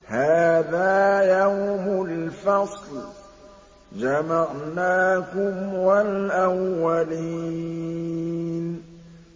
هَٰذَا يَوْمُ الْفَصْلِ ۖ جَمَعْنَاكُمْ وَالْأَوَّلِينَ